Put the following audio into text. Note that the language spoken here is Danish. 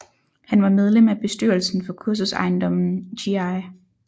Han var medlem af bestyrelsen for kursusejendommen Gl